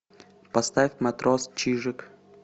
поставь матрос чижик